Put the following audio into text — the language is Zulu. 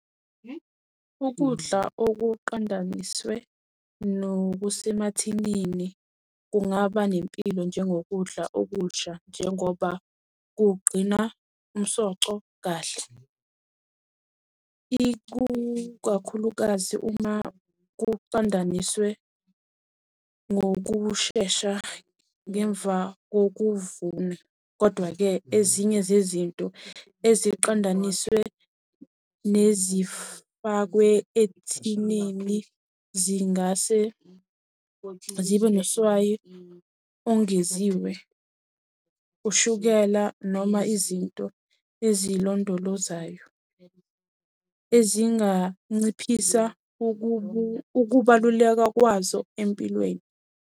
Ukudla okuqondaniswe nokusemathinini kungaba nempilo njengokudla okusha njengoba kugcina umsoco kahle. Ikukakhulukazi uma kuqondaniswe ngokushesha ngemva kokuvuna. Kodwa-ke ezinye zezinto eziqondaniswe nezifakwe ethinini zingase zibe noswayi ongeziwe, ushukela noma izinto ezilondolozayo. Ezinganciphisa ukubaluleka kwazo empilweni.